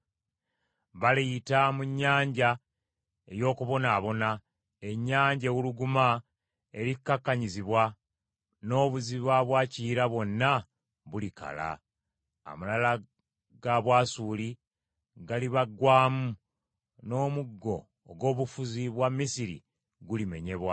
Baliyita mu nnyanja ey’okubonaabona; ennyanja ewuluguma erikkakkanyizibwa, n’obuziba bwa Kiyira bwonna bulikala. Amalala ga Bwasuli galibaggwaamu n’omugo ogw’obufuzi bwa Misiri gulimenyebwa.